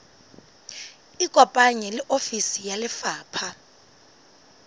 ikopanye le ofisi ya lefapha